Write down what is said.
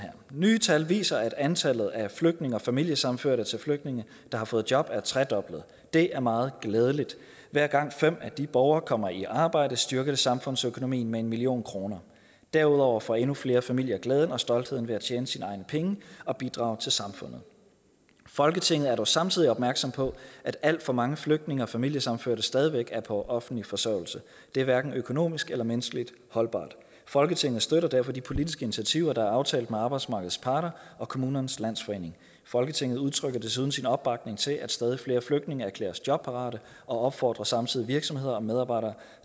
nye tal viser at antallet af flygtninge og familiesammenførte til flygtninge der har fået job er tredoblet det er meget glædeligt hver gang fem af disse borgere kommer i arbejde styrker det samfundsøkonomien med en million kroner derudover får endnu flere familier glæden og stoltheden ved at tjene sine egne penge og bidrage til samfundet folketinget er dog samtidig opmærksom på at alt for mange flygtninge og familiesammenførte stadigvæk er på offentlig forsørgelse det er hverken økonomisk eller menneskeligt holdbart folketinget støtter derfor de politiske initiativer der er aftalt med arbejdsmarkedets parter og kommunernes landsforening folketinget udtrykker desuden sin opbakning til at stadig flere flygtninge erklæres jobparate og opfordrer samtidig virksomheder og medarbejdere